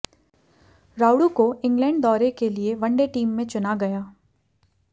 रायुडू को इंग्लैंड दौरे के लिए वनडे टीम में चुना गया